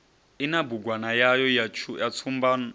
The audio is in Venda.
ina bugwana yayo ya tshumban